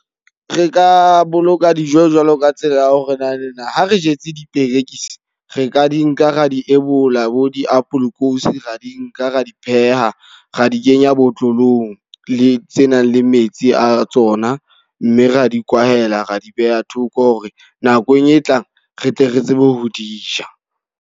Re ka boloka dijo jwalo ka tsela ya ho re naneng, ha re jetse diperekisi. Re ka di nka ra di ebola bo diapolokosi, ra di nka ra di pheha. Ra di kenya botlolong le tse nang le metsi a tsona. Mme ra di kwahela, ra di beha thoko hore nakong e tlang re tle re tsebe ho di ja.